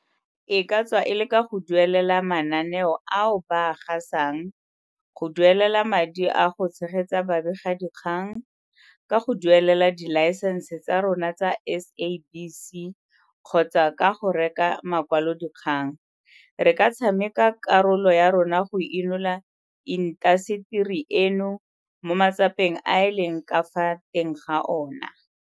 E ka tswa e le ka go duelela mananeo ao ba a gasang, go duelela madi a go tshegetsa babegadikgang, ka go duelela dilaesense tsa rona tsa SABC kgotsa ka go reka makwalodikgang, re ka tshameka karolo ya rona go inola intaseteri eno mo matsapeng a e leng ka fa teng ga ona.